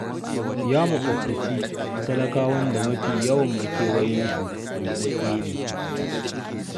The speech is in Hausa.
Ya maƙobtaci talakawan da mafi yawan makewayensu buɗaɗɗu ne.